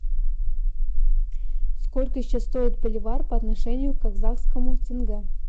сколько сейчас стоит боливар по отношению к казахскому тенге